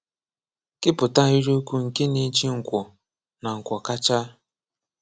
Képụta ahịrịokwu nke na-eji nkwọ na nkwọ kacha.